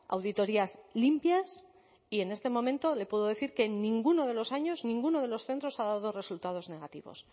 auditorias limpias y en este momento le puedo decir que en ninguno de los años ninguno de los centros ha dado resultados negativos